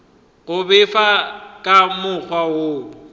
go befa ka mokgwa wo